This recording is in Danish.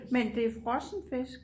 Men det er frossen fisk